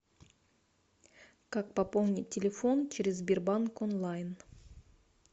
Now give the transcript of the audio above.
как пополнить телефон через сбербанк онлайн